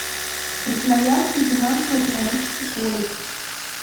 красноярский финансово экономический колледж